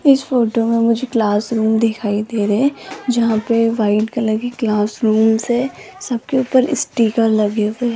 इस फोटो में मुझे क्लासरूम दिखाई दे रहे हैं जहां पे व्हाइट कलर की क्लास रूम्स है सबके ऊपर स्टीकर लगे हुए हैं।